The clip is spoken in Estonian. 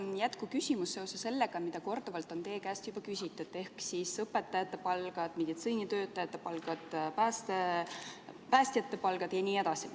Mul on jätkuküsimus seoses sellega, mida korduvalt on teie käest juba küsitud ehk õpetajate palgad, meditsiinitöötajate palgad, päästjate palgad jne.